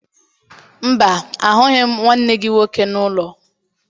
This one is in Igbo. Mba, ahụghị m nwanne gị nwoke n'ụlọ